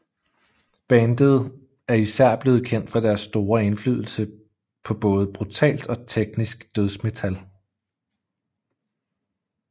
Bandet er især blevet kendt for deres store indflydelse på både brutalt og teknisk dødsmetal